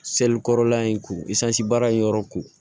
kɔrɔla in ko isansi baara in yɔrɔ ko